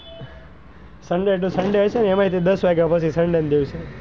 sunday to sunday હશે ને એમાય દસ વાગ્યા પછી sunday નાં દિવસે,